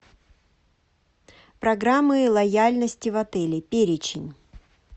программы лояльности в отеле перечень